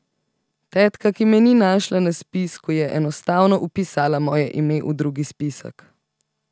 Tetka, ki me ni našla na spisku, je enostavno vpisala moje ime v drugi spisek.